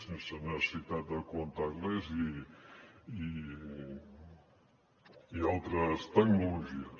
sense necessitat de contactless i altres tecnologies